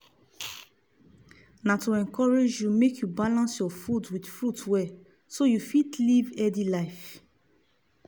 na to encourage you make you balance your food with furits well so you fit live healthy life.